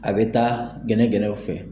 A bɛ taa gɛnɛgɛnɛw fɛ.